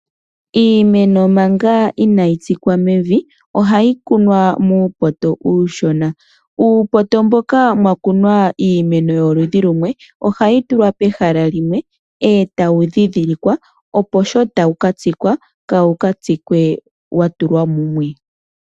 Iimeno manga inayi tsikwa mevi ohayi kunwa manga muupoto uushona. Uupoto mboka mwa kunwa uumeno woludhi lumwe ohawu tulwa pehala limwe ee tawu dhidhilikwa opo sho tawu katsikwa kawu katsikwe wa tulwa mumwe.